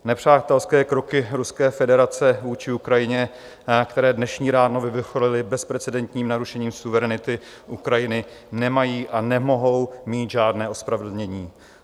Nepřátelské kroky Ruské federace vůči Ukrajině, které dnešní ráno vyvrcholily bezprecedentním narušením suverenity Ukrajiny, nemají a nemohou mít žádné ospravedlnění.